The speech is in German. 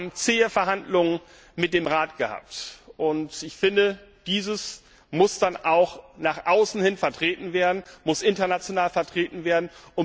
Wir haben zähe Verhandlungen mit dem Rat gehabt. Ich finde, dies muss dann auch nach außen hin vertreten werden, muss international vertreten werden.